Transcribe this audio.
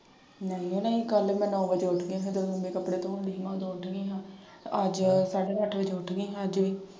ਨਈਂ ਓ ਨਈਂ ਕੱਲ ਮੈਂ ਨੌਂ ਵਜੇ ਉੱਠ ਗਈ ਜਦੋਂ ਮੰਮੀ ਕੱਪੜੇ ਧੋਣ ਡਈ ਸੀ। ਉਦੋਂ ਉੱਠ ਗਈ ਹਾਂ। ਅੱਜ ਸਾਢੇ ਅੱਠ ਵਜੇ ਉੱਠ ਗਈ ਹਾਂ ਅੱਜ ਵੀ।